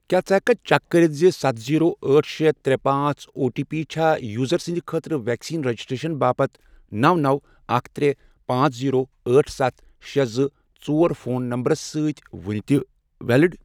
کیٛاہ ژٕ ہیٚکۍ کھا چیک کٔرِتھ زِ ستھَ، زیٖرو، أٹھ، شے، ترے، پانژھ، او ٹی پی چھا یوزر سٕنٛدۍ خٲطرٕ ویکسین رجسٹریشن باپتھ نوَ، نوَ، اکھ، ترے، پانژھ، زیٖرو، أٹھ، سَتھ، شے، زٕ، ژور، فون نمبرَس سۭتۍ وُنہِ تہِ ویلِڑ؟